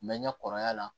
N bɛ ɲɛ kɔrɔya la